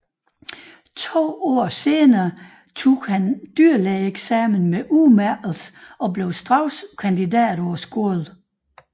To år senere tog han dyrlægeeksamen med udmærkelse og blev straks kandidat på skolen